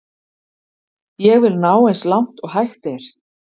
Ég vil ná eins langt og hægt er.